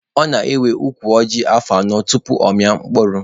Ọ na-ewe ukwu ọjị afọ anọ tupu ọ mịpụta mkpụrụ.